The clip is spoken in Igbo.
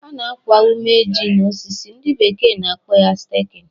Ana akwa ume ji na osisi, ndị bekee na akpọ ya 'staking'